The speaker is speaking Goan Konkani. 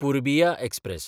पुर्बिया एक्सप्रॅस